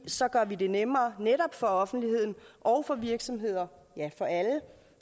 så gør vi det nemmere netop for offentligheden og for virksomheder ja for alle